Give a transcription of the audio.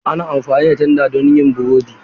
Ana amfani da tanda don yin burodi.